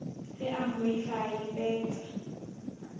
ge a mmoifa a ipeta